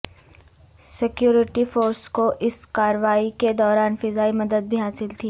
security forces کواس کارروائی کے دوران فضائی مدد بھی حاصل تھی